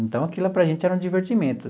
Então, aquilo lá para a gente era um divertimento.